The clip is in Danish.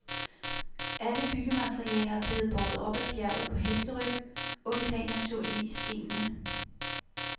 Alle byggematerialer er blevet båret op ad bjerget på hesteryg undtagen naturligvis stenene.